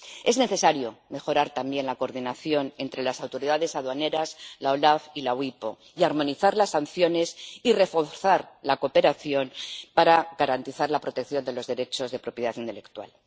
Es necesario mejorar también la coordinación entre las autoridades aduaneras, la OLAF y la EUIPO, y armonizar las sanciones y reforzar la cooperación para garantizar la protección de los derechos de propiedad intelectual.